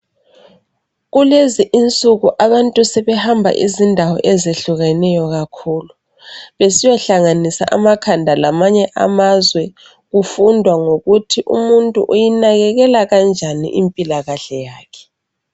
kulezi insuku abantu sebehamba izindao ezehlukeneyo kakhulu besiyohlanganisa amakhanda alamanye amazwe kufundwa ngokuthi umuntu uyinakekela kanjeni impilakahle yakhe